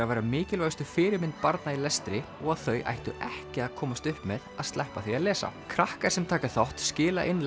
vera mikilvægustu fyrirmynd barna í lestri og að þau ættu ekki að komast upp með að sleppa því að lesa krakkar sem taka þátt skila inn